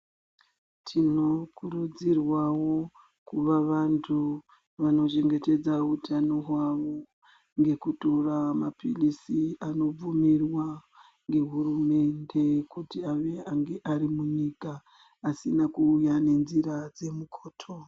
Tinokurudzirwawo kuva vantu vanochengetedza utano hwavo ngekutora mapiritsi anobvumirwa ngehurumende kuti ave ange arimunyika asina kuuya ngenzira dzemukoto.